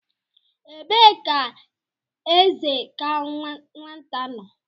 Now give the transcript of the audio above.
Ebee ka eze ka nwata nọ?